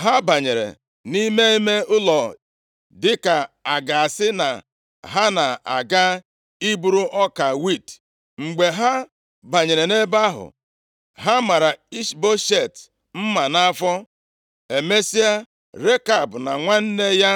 Ha banyere nʼime ime ụlọ, dịka a ga-asị na ha na-aga iburu ọka wiiti. Mgbe ha banyere nʼebe ahụ, ha mara Ishboshet mma nʼafọ. Emesịa, Rekab na nwanne ya